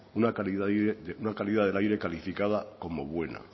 una calidad del aire calificada como buena